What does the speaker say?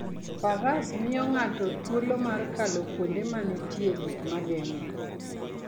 Faras miyo ng'ato thuolo mar kalo kuonde ma nitie gik ma geng'e.